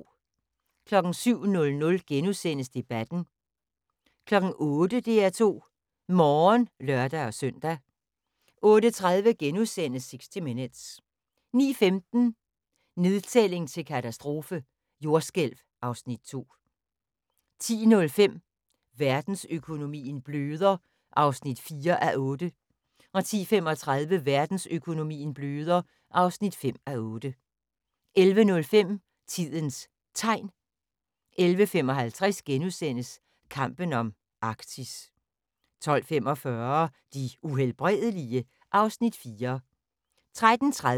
07:00: Debatten * 08:00: DR2 Morgen (lør-søn) 08:30: 60 minutes * 09:15: Nedtælling til katastrofe – jordskælv (Afs. 2) 10:05: Verdensøkonomien bløder (4:8) 10:35: Verdensøkonomien bløder (5:8) 11:05: Tidens Tegn 11:55: Kampen om Arktis * 12:45: De Uhelbredelige? (Afs. 4)